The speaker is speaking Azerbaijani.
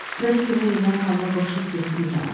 Mənə kömək eləyən xanıma qoşulub getdim İrana.